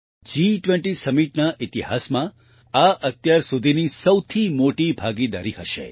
G20 Summitના ઈતિહાસમાં આ અત્યાર સુધીની સૌથી મોટી ભાગીદારી હશે